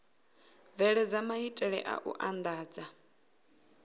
bveledza maitele a u andadza